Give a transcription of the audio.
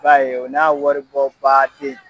b'a ye o n'a waribɔ baden.